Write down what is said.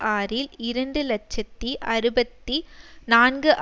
ஆறில் இரண்டு இலட்சத்தி அறுபத்தி நான்கு